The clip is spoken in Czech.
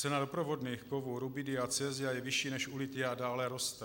Cena doprovodných kovů rubidia a cesia je vyšší než u lithia a dále roste.